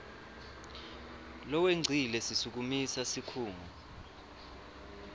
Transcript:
lowengcile sisukumise sikhungo